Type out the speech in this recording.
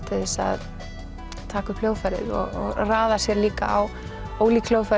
til þess að taka upp hljóðfærið og raða sér líka á ólík hljóðfæri